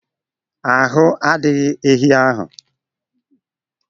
Ahu a dighi ehi ahu